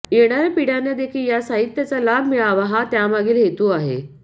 येणाऱ्या पिढ्यांना देखील या साहित्याचा लाभ मिळावा हा त्यामागील हेतू आहे